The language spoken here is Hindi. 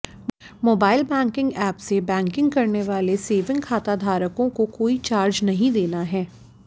मोबाइल बैंकिंग ऐप से बैंकिंग करने वाले सेविंग खाताधारकों को कोई चार्ज नहीं देना है